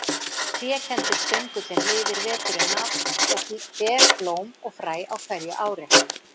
Trékenndur stöngullinn lifir veturinn af og ber blóm og fræ á hverju ári.